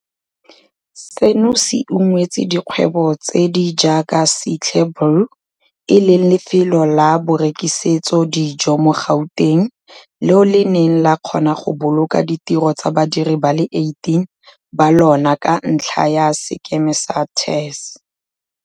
Seno se ungwetse dikgwebo tse di jaaka Sihle's Brew, e leng lefelo la borekisetso dijo mo Gauteng, leo le neng la kgona go boloka ditiro tsa badiri ba le 18 ba lona ka ntlha ya sekema sa TERS.